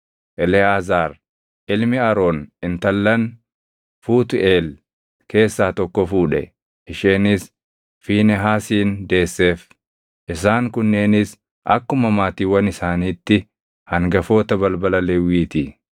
Eleʼaazaar ilmi Aroon intallan Fuutʼeel keessaa tokko fuudhe; isheenis Fiinehaasin deesseef. Isaan kunneenis akkuma maatiiwwan isaaniitti hangafoota balbala Lewwii ti.